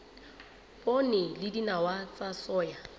poone le dinawa tsa soya